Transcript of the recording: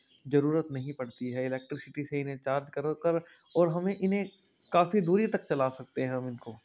जरूरत नहीं पड़ती है इलेक्ट्रिसिटी से इन्हें चार्ज कर कर और हमें इन्हें काफी दूरी तक चला सकते हैं हम इनको।